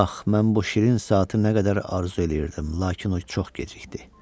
Ax, mən bu şirin saatı nə qədər arzu eləyirdim, lakin o çox gecikdi.